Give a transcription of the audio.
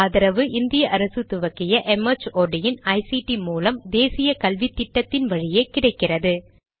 இதற்கு ஆதரவு இந்திய அரசு துவக்கிய ஐசிடி மூலம் தேசிய கல்வித்திட்டத்தின் வழியே கிடைக்கிறது